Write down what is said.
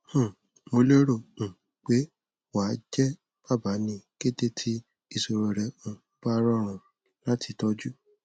um mo lérò um pé wà á jẹ bàbá ní kété tí ìṣòro rẹ um bá rọrùn láti tọjú